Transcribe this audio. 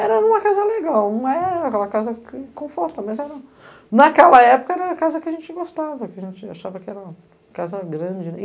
Era uma casa legal, não era aquela casa confortável, mas era... Naquela época era a casa que a gente gostava, que a gente achava que era uma casa grande.